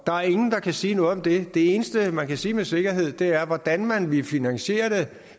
er ingen der kan sige noget om det det eneste man kan sige med sikkerhed er hvordan man vil finansiere det